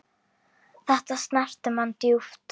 Þetta snerti mann djúpt.